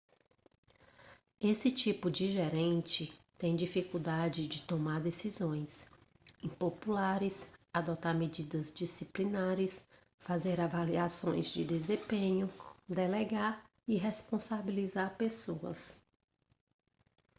esse tipo de gerente tem dificuldade de tomar decisões impopulares adotar medidas disciplinares fazer avaliações de desempenho delegar e responsabilizar pessoas